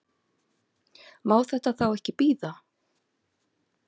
Má þetta þá ekki bíða?